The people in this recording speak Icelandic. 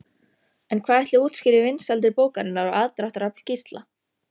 En hvað ætli útskýri vinsældir bókarinnar og aðdráttarafl Gísla?